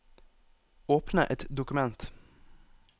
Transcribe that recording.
Åpne et dokument